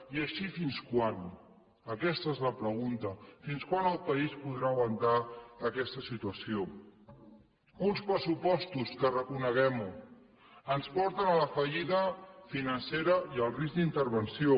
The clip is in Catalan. i així fins quan aquesta és la pregunta fins quan el país podrà aguantar aquesta situació uns pressupostos que reconeguem ho ens porten a la fallida financera i al risc d’intervenció